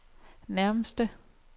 nærmeste